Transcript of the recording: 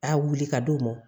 A wuli ka d'o ma